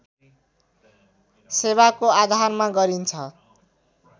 सेवाको आधारमा गरिन्छ